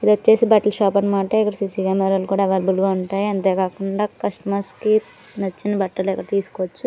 ఇదొచ్చేసి బట్టల షాప్ అన్నమాట. ఇక్కడ సీ_సీ కెమెరాస్ కూడా అవైలబుల్ గా ఉంటాయి అంతే గాగుండ కస్టమర్స్ కి నచ్చిన బట్టలు ఏవో తీసుకోవచ్చు.